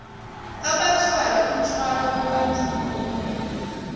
abathwala umthwalo wobandlululo